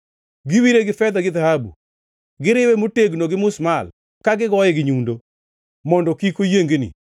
Giwire gi fedha gi dhahabu; giriwe motegno gi musmal ka gigoye gi nyundo, mondo kik oyiengni.